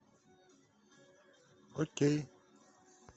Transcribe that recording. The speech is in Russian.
окей